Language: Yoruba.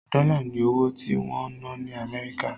Dọ́là ni owó tí wọ́n ń ná ní Amẹ́ríkà.